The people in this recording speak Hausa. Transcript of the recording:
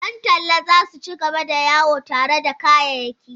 Yan talla za su ci gaba da yawo tare da kayayyaki.